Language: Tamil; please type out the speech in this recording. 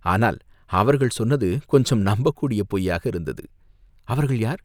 ஆனால் அவர்கள் சொன்னது கொஞ்சம் நம்பக் கூடிய பொய்யாக இருந்தது." "அவர்கள் யார்?